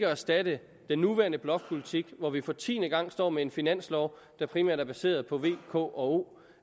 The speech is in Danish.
erstatte den nuværende blokpolitik hvor vi for tiende gang står med en finanslov der primært er baseret på v k og o